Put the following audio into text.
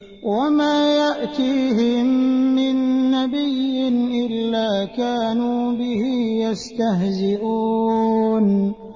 وَمَا يَأْتِيهِم مِّن نَّبِيٍّ إِلَّا كَانُوا بِهِ يَسْتَهْزِئُونَ